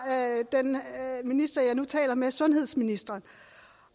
den minister jeg nu taler med nemlig sundhedsministeren